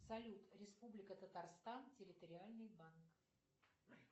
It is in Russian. салют республика татарстан территориальный банк